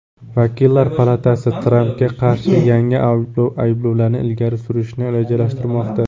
Vakillar palatasi Trampga qarshi yangi ayblovlarni ilgari surishni rejalashtirmoqda.